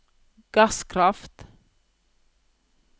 gasskraft